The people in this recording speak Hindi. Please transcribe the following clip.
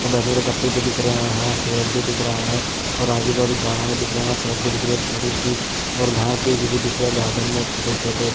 और बैठने के लिए गट्टे भी दिख रहे हैं सूरज भी दिख रहा है और आजूबाजू झाड़ भी दिख रहे हैं और सड़क भी दिख रही है छोटी सी और घास भी दिख रही है गार्डन में छोटे-छोटे ----